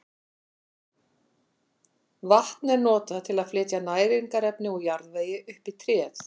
Vatn er notað til að flytja næringarefni úr jarðvegi upp í tréð.